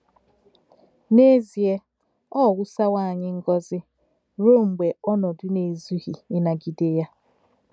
N’èzì̄è̄, ọ̀ ‘ wùsá̄wò̄ ànyí̄ ngọ́zì̄, rūō m̀gbè̄ ònòdú̄ nā-è̄zú̄ghì̄ ínàgídè̄ yā ’!